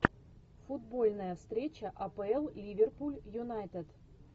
футбольная встреча апл ливерпуль юнайтед